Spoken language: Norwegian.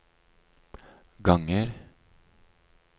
ganger